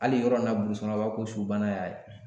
Hali yɔrɔ in na kɔnɔ, u b'a fɔ ko su bana ya ye.